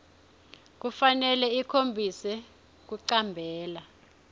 kufanele ikhombise kuticambela